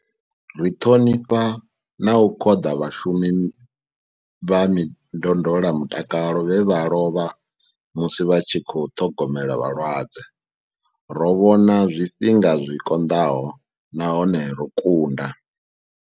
Ri ṱhonifha na u khoḓa vhashu mi vha ndondolamutakalo vhe vha lovha musi vha tshi khou ṱhogomela vhalwadze. Ro vhona zwifhinga zwi konḓaho nahone ro kunda.